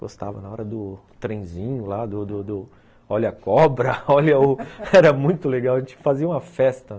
Gostava, na hora do trenzinho lá, do do do ... Olha a cobra, olha o... Era muito legal, a gente fazia uma festa.